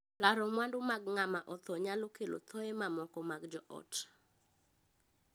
Laro mwandu mag ng'ama othoo nyalo kelo thooye mamoko mag joot.